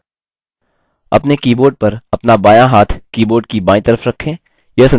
अपने keyboard पर अपना बायाँ हाथ keyboard की बायीं तरफ रखें